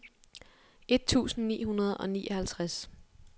et tusind ni hundrede og nioghalvtreds